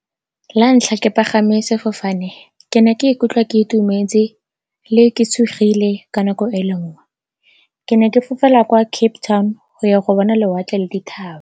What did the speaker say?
La ntlha ke pagame sefofane ke ne ke ikutlwa ke itumetse, le ke tshogile ka nako e le nngwe. Ke ne ke fofela kwa Cape Town go ya go bona lewatle le dithaba.